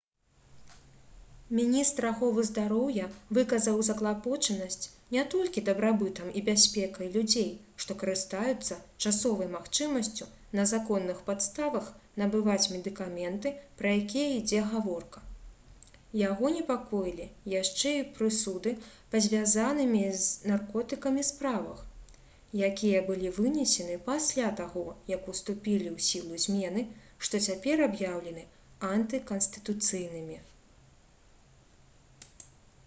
міністр аховы здароўя выказаў заклапочанасць не толькі дабрабытам і бяспекай людзей што карыстаюцца часовай магчымасцю на законных падставах набываць медыкаменты пра якія ідзе гаворка яго непакоілі яшчэ і прысуды па звязанымі з наркотыкамі справах якія былі вынесены пасля таго як уступілі ў сілу змены што цяпер аб'яўлены антыканстытуцыйнымі